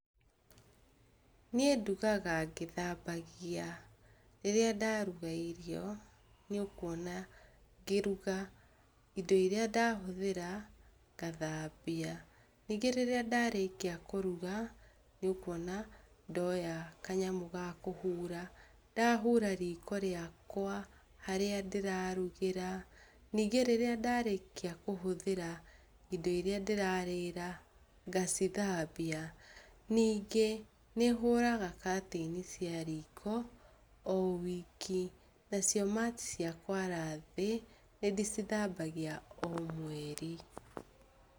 Niĩ ndugaga ngĩthambagia. Rĩrĩa ndaruga irio nĩũkuona ngĩruga, indo iria ndahũthĩra ngathambia. Ningĩ rĩrĩa ndarĩkia kũruga nĩũkuona ndoya kanyamũ ga kũhura, ndahura riko rĩakwa harĩa ndĩrarugĩra. Ningĩ rĩrĩa ndarĩkia kũhũthĩra indo iria ndĩrarĩra ngacithambia. Ningĩ, nĩhũraga katĩini ciariko o wiki, nacio mati ciakwara thĩ nĩndĩcithambagia o mweri.